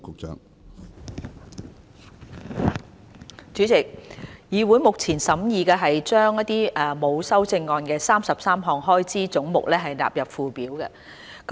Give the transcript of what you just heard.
主席，議會現正審議將33個沒有修正案的開支總目納入附表。